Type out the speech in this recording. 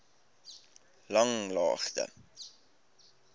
langlaagte